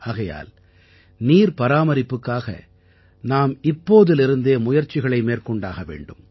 ஆகையால் நீர் பராமரிப்புக்காக நாம் இப்போதிலிருந்தே முயற்சிகளை மேற்கொண்டாக வேண்டும்